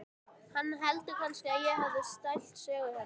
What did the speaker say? Hann heldur kannski að ég hafi stælt sögurnar hennar.